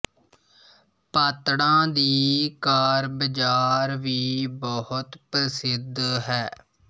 ਪਾਤੜਾਂ ਦੀ ਕਾਰ ਬਜਾਰ ਵੀ ਬਹੁਤ ਪ੍ਰਸਿੱਧ ਹੈ